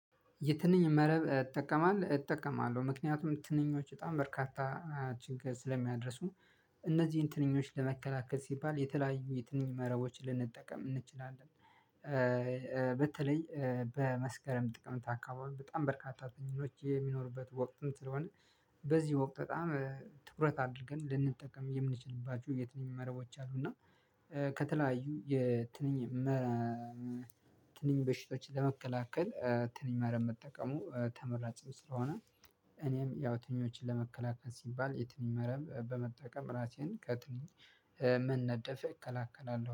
የትንኝ መረብ እጠቀማለ እጠቀማለሁ ምክንያቱም ትንኞች በጣም በርካታ ችግር ስለሚያደርሱ እነዚህን ትንኞች ለመከላከል ሲባል የተለያዩ የትንኝ መረቦች ልንጠቀም እንችላለን። በተለይ በመስከረም ጥቅምት አካባቢ በጣም በርካታ አጠናኞች የሚኖሩበት ወቅትም ስለሆነ በዚህ ወቅት በጣም ትኩረት አድር ገን ልንጠቀም የምንችልባቸው የት ንኝ መረቦች አሉ። እና ከተለያዩ የትንኝ መ ትንኝ በሽቶችን ለመከላከል ትንኝ መረብ መጠቀሙ ተመራጭ ስለሆነ። እኔም ያው ትንኞችን ለመከላከል ሲባል የትንኝ መረብ በመጠቀም ራሴን ከትንኝ መነደፍ እከላከላለሁ